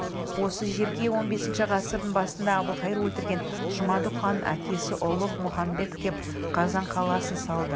осы жерге он бесінші ғасырдың басында әбілқайыр өлтірген жұмадүк ханның әкесі ұлығ мұхамбет кеп қазан қаласын салды